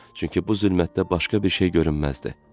Çünki bu zülmətdə başqa bir şey görünməzdi.